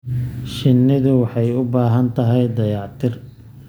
Shinnidu waxay u baahan tahay dayactir.